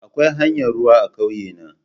Akwai hanyar ruwa a ƙauye na.